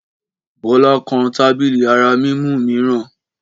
Bọ́lá kan tábìlì ara mímú mìíràn.